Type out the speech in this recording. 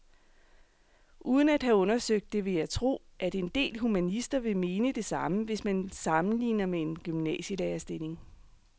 Uden at have undersøgt det vil jeg tro, at en del humanister vil mene det samme, hvis man sammenligner med en gymnasielærerstilling.